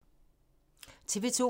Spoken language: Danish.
TV 2